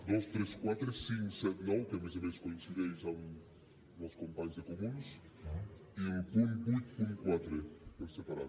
dos tres quatre cinc set i nou que a més a més coincideixen amb els companys de comuns i el punt vuitanta quatre per separat